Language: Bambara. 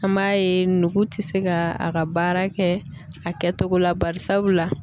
An b'a ye nugu tɛ se ka a ka baara kɛ a kɛ togo la bari sabula.